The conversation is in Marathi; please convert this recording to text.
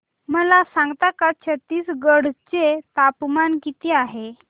मला सांगता का छत्तीसगढ चे तापमान किती आहे